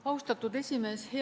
Austatud esimees!